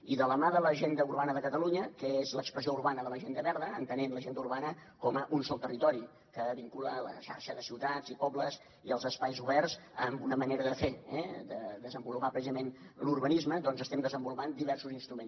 i de la mà de l’agenda urbana de catalunya que és l’expressió urbana de l’agenda verda entenent l’agenda urbana com un sol territori que vincula la xarxa de ciutats i pobles i els espais oberts amb una manera de fer eh de desenvolupar precisament l’urbanisme doncs estem desenvolupant diversos instruments